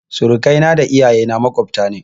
Surakai na da iyaye na maƙwabta ne